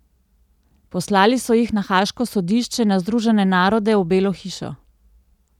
Poslali so jih na haaško sodišče, na Združene narode, v Belo hišo ...